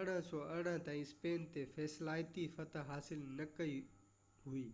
1818 تائين اسپين تي فيصلاتي فتح حاصل نه ڪئي وئي